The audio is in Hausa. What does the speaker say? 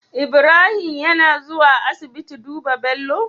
Ibrahim yAna zuwa asibiti duba Bello?